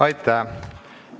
Aitäh!